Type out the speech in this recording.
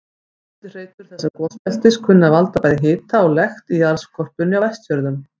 Eftirhreytur þessa gosbeltis kunna að valda bæði hita og lekt í jarðskorpunni á Vestfjörðum.